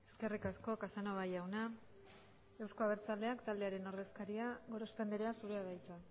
eskerrik asko casanova jauna euzko abertzaleak taldearen ordezkaria gorospe andrea zurea da hitza